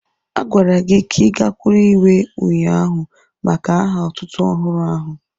A gwara gị ka I gakwụrụ ihwé ụnyaahụ maka aha otútú ọhụrụ áhù